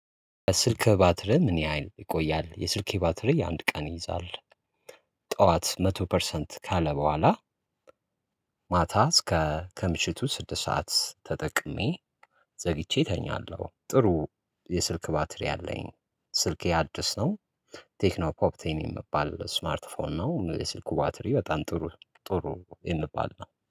ስልክ ባትሪ ምን? ያህል ይቆያል የስልኬ ባትሪ አንድ ቀን ይይዛል። ጠዋት መቶ ፐርሰንት ካለ በኋላ። ማታ እስከ ከምሽቱ ስድስት ሰዓት ተጠቅሜ ዘግቼ እተኛለሁ። ጥሩ የስልክ ባትሪ አለኝ። ስልኬ አዲስ ነው። ቴክኖ ፖፕቴን የሚባል ስማርት ፎን ነው። የስልኩ ባትሪ በጣም ጥሩ ጥሩ የሚባል ነው